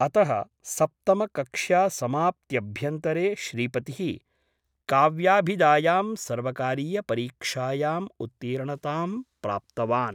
अतः सप्तमकक्ष्यासमाप्त्यभ्यन्तरे श्रीपतिः काव्याभिधायां सर्वकारीयपरीक्षायाम् उत्तीर्णतां प्राप्तवान् ।